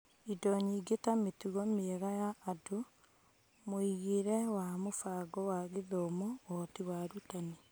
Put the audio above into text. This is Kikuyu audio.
Indo nyingĩ ta mĩtugo mĩega ya andũ, mũigĩre wa mũbango wa gĩthomo, ũhoti wa arutani.